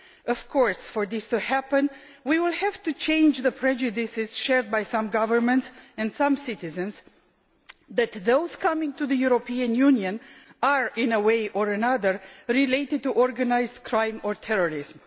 Of course, for this to happen, we will have to change the prejudices shared by some governments and some citizens that those coming to the European Union are in one way or another related to organised crime or terrorism.